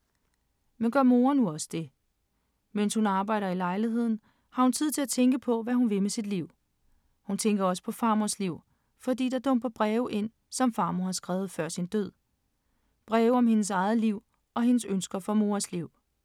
Men gør Moa nu også det? Mens hun arbejder i lejligheden, har hun tid til at tænke på, hvad hun vil med sit liv. Hun tænker også på farmors liv, fordi der dumper breve ind, som farmor har skrevet før sin død. Breve om hendes eget liv og hendes ønsker for Moas liv.